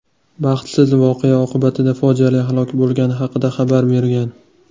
baxtsiz voqea oqibatida fojiali halok bo‘lgani haqida xabar bergan.